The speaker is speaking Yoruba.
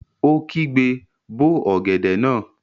Ó kígbe, 'bó ọ̀gẹ̀dẹ̀ náà!